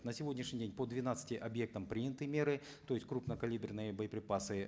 на сегодняшний день по двенадцати объектам приняты меры то есть крупнокалиберные боеприпасы